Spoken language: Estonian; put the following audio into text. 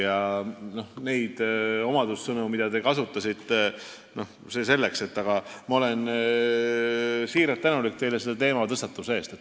See selleks, mis omadussõnu te kasutasite, aga ma olen teile siiralt tänulik selle teematõstatuse eest.